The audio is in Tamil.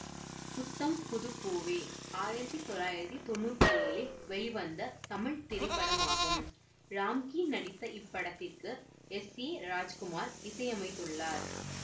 புத்தம் புது பூவே ஆயிரத்தி தொள்ளாயிரத்தி தொன்னூற்தி ஏழில் வெளிவந்த தமிழ் திரைப்படமாகும் ராம்கி நடித்த இப்படத்திற்கு எஸ் ஏ ராஜ்குமார் இசையமைத்துள்ளார்